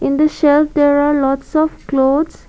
the shelf there are lots of clothes.